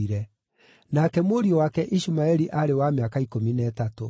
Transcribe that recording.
nake mũriũ wake Ishumaeli aarĩ wa mĩaka ikũmi na ĩtatũ.